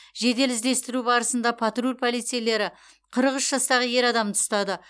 жедел іздестіру барысында патруль полицейлері қырық үш жастағы ер адамды ұстады